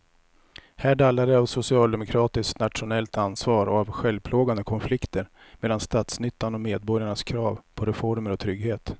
Här dallrar det av socialdemokratiskt nationellt ansvar och av självplågande konflikter mellan statsnyttan och medborgarnas krav på reformer och trygghet.